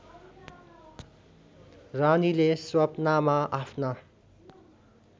रानीले स्वप्नामा आफ्ना